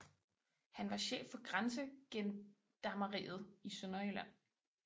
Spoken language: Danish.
Han var chef for Grænsegendarmeriet i Sønderjylland